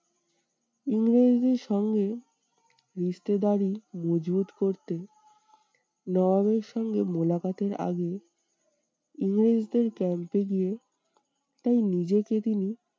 ইংরেজ দেড় সঙ্গে মজবুত করতে নবাবের সঙ্গে এর আগে ইংরেজদের camp এ গিয়ে তাই নিজেকে তিনি